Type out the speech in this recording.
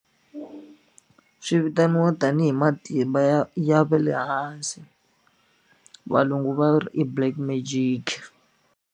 Swi vitaniwa tanihi matimba ya ya ve le hansi valungu va ri i black magic.